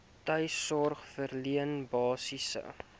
tuissorg verleen basiese